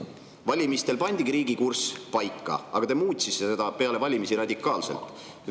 Valimistel pandigi riigi kurss paika, aga te muutsite seda peale valimisi radikaalselt.